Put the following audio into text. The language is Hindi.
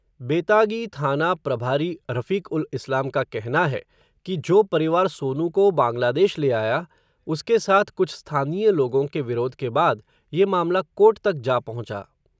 बेतागी थाना प्रभारी रफ़ीक़-उल-इस्लाम का कहना है, कि जो परिवार सोनू को बांग्लादेश ले आया, उसके साथ कुछ स्थानीय लोगों के विरोध के बाद, ये मामला कोर्ट तक जा पहुँचा.